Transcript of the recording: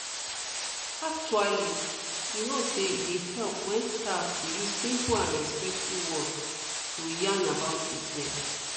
actually you know say e dey help wen staff dey use simple and respectful words to yarn about treatments